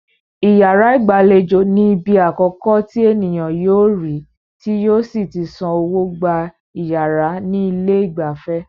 Iyàrá ìgbàlejò ní ibi akọ̀kọ́ tí ènìyàn yóò rí tí yóò sí tí san owó gba iyàrá ní ilé ìgbafẹ́.